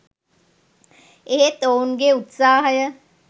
එහෙත් ඔවුන්ගේ උත්සාහය